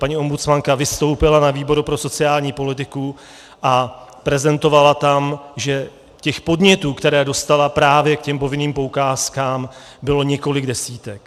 Paní ombudsmanka vystoupila na výboru pro sociální politiku a prezentovala tam, že těch podnětů, které dostala právě k těm povinným poukázkám, bylo několik desítek.